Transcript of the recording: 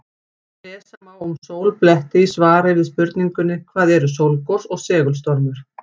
Lesa má um sólbletti í svari við spurningunni Hvað eru sólgos og segulstormur?